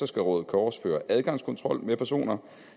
skal røde kors føre adgangskontrol med personer